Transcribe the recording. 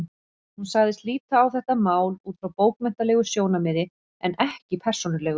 Hún sagðist líta á þetta mál út frá bókmenntalegu sjónarmiði en ekki persónulegu.